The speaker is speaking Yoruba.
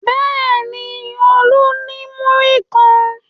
Bẹ́ẹ̀ ni, Olú ní múrí kan.